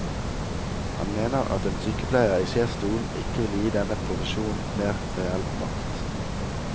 Han mener at en sykepleier i sjefsstolen ikke vil gi denne profesjonen mer reell makt.